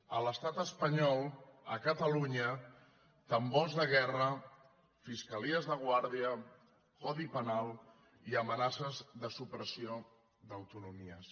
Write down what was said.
a l’estat espanyol a catalunya tambors de guerra fiscalies de guàrdia codi penal i amenaces de supressió d’autonomies